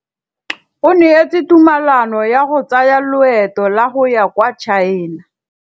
O neetswe tumalanô ya go tsaya loetô la go ya kwa China.